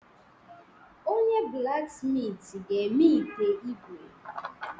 Onye-blaksmitị ga-eme ite ígwè.